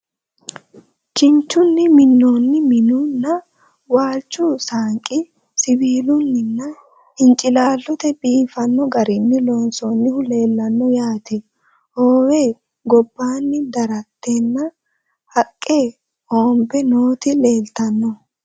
Kinchchunni minoonnihu minnu nna, waalichu saanqi siwiillunni nna hinciilaallottenni biiffanno garinni loonsoonnihu leelanno yaatte. Hoowe gobbanni daratteho haqqe hoomme nootti leelittanno